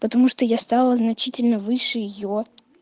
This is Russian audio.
потому что я стала значительно выше её